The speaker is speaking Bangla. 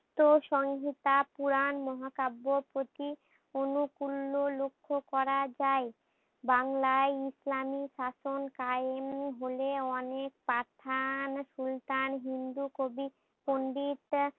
তো সংহিতা পুরান মহাকাব্য প্রতি অনু কুল্লো লক্ষ্য করা যাই। বাংলায় ইসলামী শাসন কায়েম হলে অনেক পাঠান সুলতান হিন্দু কবি পন্ডিত